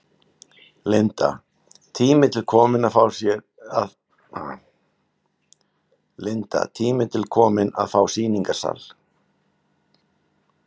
Linda: Tími til kominn að fá sýningarsal?